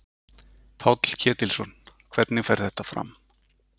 Páll Ketilsson: Hvernig fer þetta fram?